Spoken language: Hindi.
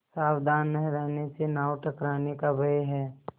सावधान न रहने से नाव टकराने का भय है